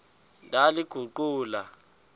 ndaliguqula